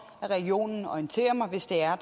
at regionen orienterer mig hvis der